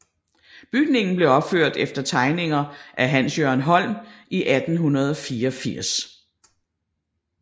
Bygningen blev opført efter tegninger af Hans Jørgen Holm i 1884